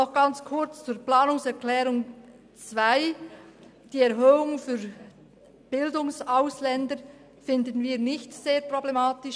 Noch kurz zur Planungserklärung 2: Die Erhöhung der Gebühren für Bildungsausländer finden wir nicht sehr problematisch.